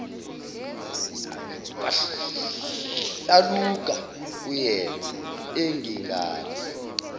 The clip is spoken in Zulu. kwahlaluka kuyena engengane